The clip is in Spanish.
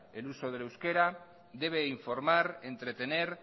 el uso del euskera debe informar entretener